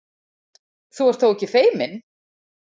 Þú ert þó ekki feiminn?